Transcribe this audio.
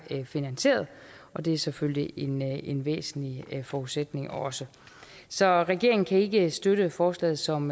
finansieret og det er selvfølgelig en en væsentlig forudsætning også så regeringen kan ikke støtte forslaget som